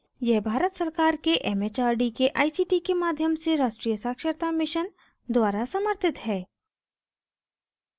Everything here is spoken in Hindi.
यह भारत सरकार के it it आर डी के आई सी टी के माध्यम से राष्ट्रीय साक्षरता mission द्वारा समर्थित है